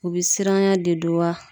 U be siranyan de don wa